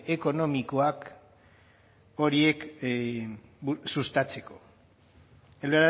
ekonomikoak horiek sustatzeko el